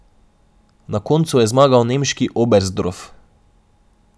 Na koncu je zmagal nemški Oberstdorf.